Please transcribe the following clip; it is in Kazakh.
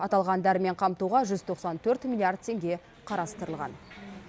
аталған дәрімен қамтуға жүз тоқсан төрт миллиард теңге қарастырылған